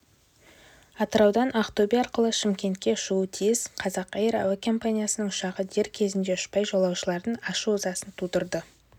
атыраудан ақтөбе арқылы шымкентке ұшуы тиіс қазақэйр әуе компаниясының ұшағы дер кезінде ұшпай жолаушылардың ашу-ызасын тудырды